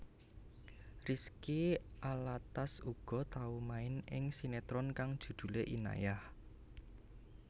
Rizky Alatas uga tau main ing sinetron kang judhulé Inayah